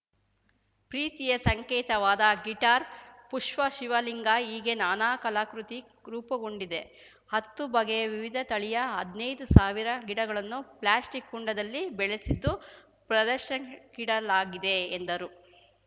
ಪ್ರೀತಿಯ ಸಂಕೇತವಾದ ಗಿಟಾರ್‌ ಪುಷ್ಪ ಶಿವಲಿಂಗ ಹೀಗೆ ನಾನಾ ಕಲಾಕೃತಿ ರೂಪುಗೊಂಡಿದೆ ಹತ್ತು ಬಗೆಯ ವಿವಿಧ ತಳಿಯ ಹದ್ನೈದು ಸಾವಿರ ಗಿಡಗಳನ್ನು ಪ್ಲಾಸ್ಟಿಕ್‌ ಕುಂಡದಲ್ಲಿ ಬೆಳೆಸಿದ್ದು ಪ್ರದರ್ಶನಕ್ಕಿಡಲಾಗಿದೆ ಎಂದರು